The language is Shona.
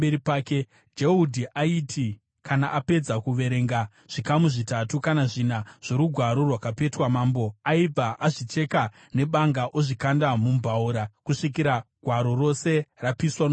Jehudhi aiti kana apedza kuverenga zvikamu zvitatu kana zvina zvorugwaro rwakapetwa, mambo aibva azvicheka nebanga ozvikanda mumbaura, kusvikira gwaro rose rapiswa mumoto.